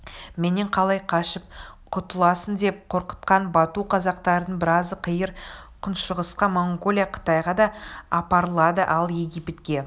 менен қалай қашып құтыласыңдеп қорқытқан бату қазақтардың біразы қиыр күншығысқа монғолия қытайға да апарылады ал египетке